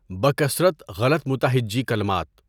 بکثرت غلط متہجی کلمات